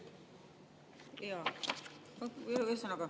Jaa, ühesõnaga …